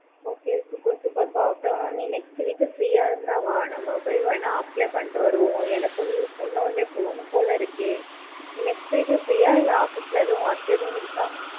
okay okay super நீ next week free யா இருந்தின வா நம்ம போய் வென apply பண்ணிட்டு வருவோம். எனக்கு நீ சொன்னானே போனும் போலா இருக்கு. நீ next week free யா இல்ல office ல எது work இது இருக்க?